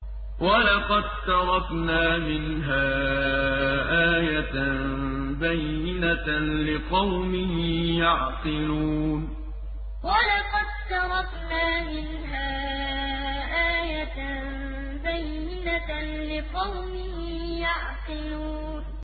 وَلَقَد تَّرَكْنَا مِنْهَا آيَةً بَيِّنَةً لِّقَوْمٍ يَعْقِلُونَ وَلَقَد تَّرَكْنَا مِنْهَا آيَةً بَيِّنَةً لِّقَوْمٍ يَعْقِلُونَ